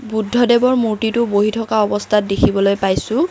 বৌদ্ধদেৱৰ মূৰ্তিটো বহি থকা অৱস্থাত দেখিবলৈ পাইছোঁ।